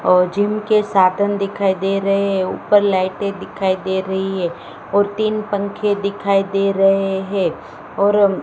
और जिम के साधन दिखाई दे रहे हैं ऊपर लाइटें दिखाई दे रही है और तीन पंखे दिखाई दे रहे है और--